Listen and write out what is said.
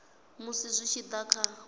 musi zwi tshi da kha